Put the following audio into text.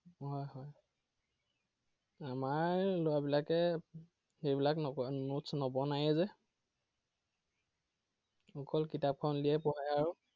হয় হয়। আমাৰ লৰাবিলাকে সেইবিলাক নকৰে notes নবনায়ে যে। অকল কিতাপখন উলিয়াই পঢ়ে আৰু।